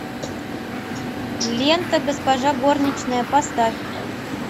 лента госпожа горничная поставь